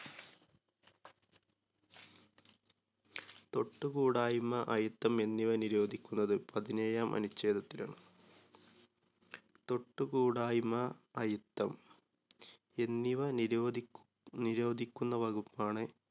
തൊട്ടുകൂടായിമ്മ അയിത്തം എന്നിവ നിരോധിക്കുന്നത് പതിനേഴാം അനുഛേദത്തിലാണ്. തൊട്ടുകൂടായിമ്മ അയിത്തം എന്നിവ നിരോധിക്കു നിരോധിക്കുന്ന വകുപ്പാണ്